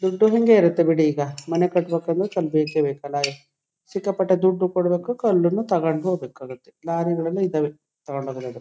ದುಡ್ಡು ಹಂಗೆ ಇರುತ್ತೆ ಬಿಡಿ ಈಗ ಮನೆ ಕಟ್ಟಬೇಕಂದ್ರೆ ಬೇಕೇ ಬೇಕು ಸಿಕ್ಕಾಪಟ್ಟೆ ದುಡ್ಡು ಕೊಡಬೇಕು ಕಲ್ಲನು ತಕೊಂಡು ಹೋಗಬೇಕಾಗುತ್ತೆ ಲಾರಿಗಳೆಲ್ಲಾ ಇದಾವೆ ತಕೊಂಡ ಹೋಗಬಹುದು .